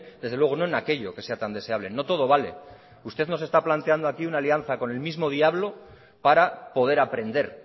desde luego no en aquello que sea tan deseable no todo vale usted nos está planteando aquí una alianza con el mismo diablo para poder aprender